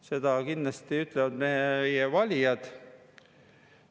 Seda kindlasti ütlevad meie valijad.